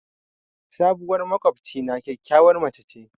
Sabuwar maƙwabcina kyakkyawar mace ce.